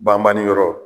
Banbani yɔrɔ